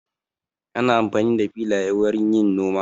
Ana amfani da filaye wurin yin noma.